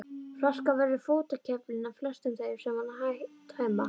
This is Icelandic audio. Flaskan verður fótakefli flestum þeim sem hana tæma.